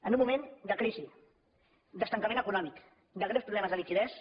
en un moment de crisi d’estancament econòmic de greus problemes de liquiditat